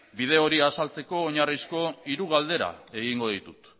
bide hori azaltzeko oinarrizko hiru galdera egingo ditut